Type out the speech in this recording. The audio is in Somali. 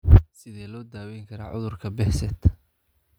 Sidee loo daweyn karaa cudurka Behcet?